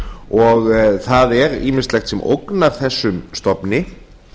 og það er ýmislegt sem ógnar þessum stofni